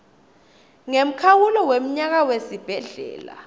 ngemkhawulo wemnyaka wesibhedlela